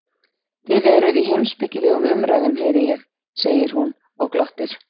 Þið eruð í heimspekilegum umræðum heyri ég, segir hún og glottir.